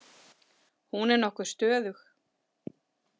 Hún er nokkuð stöðug.